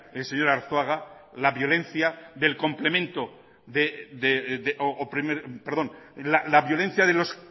el señor arzuaga la violencia de los